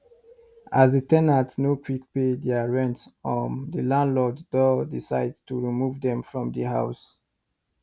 as the ten ant nor quick pay there rent um the landlord doh decide to remove them from the house